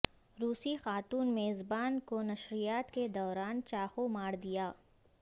روسی خاتون میزبان کو نشریات کے دوران چاقو ماردیا